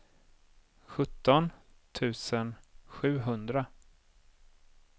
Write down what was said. sjutton tusen sjuhundra